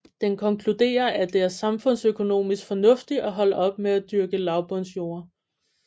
Den konkluderer at det er samfundsøkonomisk fornuftigt at holde op med at dyrke lavbundsjorder